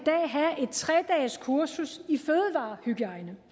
tre dages kursus